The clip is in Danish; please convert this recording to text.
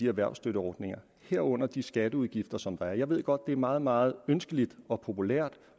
erhvervsstøtteordningerne herunder de skatteudgifter som der er jeg ved godt det er meget meget ønskeligt og populært